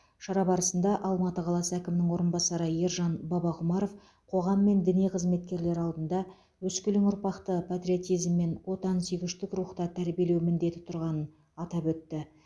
шара барысында алматы қаласы әкімінің орынбасары ержан бабақұмаров қоғам мен діни қызметкерлер алдында өскелең ұрпақты патриотизм мен отансүйгіштік рухта тәрбиелеу міндеті тұрғанын атап өтті